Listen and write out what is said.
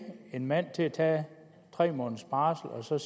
en mand til at tage tre måneders barsel og